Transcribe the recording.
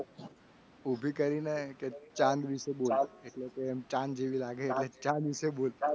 ચાંદ વિશે બોલ એટલે કે ચાલ જેવી લાગે. એટલે ચાંદ વિશે બોલ